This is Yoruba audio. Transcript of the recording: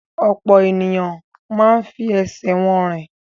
Ọ̀pọ̀ ènìyàn máa ń fi ẹsẹ̀ wọn rìn.